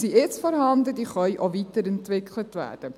Diese können auch weiterentwickelt werden.